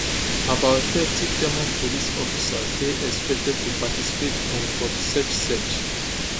about thirty german police officers dey expected to participate um for di search search